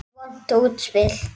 Vont útspil.